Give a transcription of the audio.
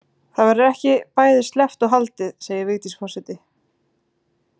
Það verður ekki bæði sleppt og haldið segir Vigdís forseti.